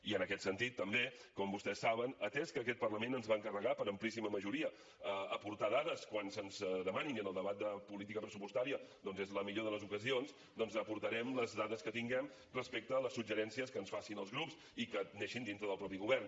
i en aquest sentit també com vostès saben atès que aquest parlament ens va encarregar per amplíssima majoria aportar dades quan se’ns demanin i en el debat de política pressupostària és la millor de les ocasions doncs aportarem les dades que tinguem respecte als suggeriments que ens facin els grups i que neixin dintre del mateix govern